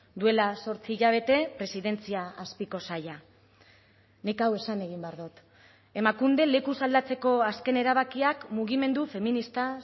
duela zortzi hilabete presidentzia azpiko saila nik hau esan egin behar dut emakunde lekuz aldatzeko azken erabakiak mugimendu feminista